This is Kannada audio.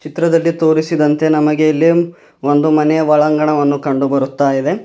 ಚಿತ್ರದಲ್ಲಿ ತೋರಿಸಿದಂತೆ ನಮಗೆ ಇಲ್ಲಿ ಒಂದು ಮನೆಯ ಒಳಂಗಣವನ್ನು ಕಂಡು ಬರುತಾ ಇದೆ.